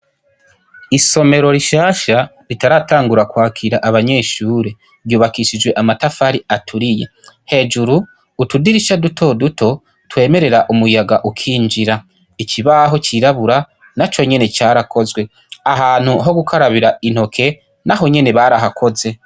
Isomero rishasha ritaratangura ,kwakira abanyeahure ,ryubakishijwe amatafari aturiye. Hejuru, utudirisha duto duto twemerera umuyaga ukinjira . Ikibaho cirabura naco nyene carakozwe, ahantu ho gukarabira intoke, naho nyene barahakoze.